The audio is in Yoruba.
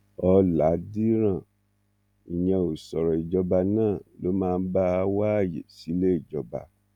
ọlàdíràn ìyẹn ò sọ̀rọ̀ ìjọba náà ló máa bá a wá ààyè síléejọba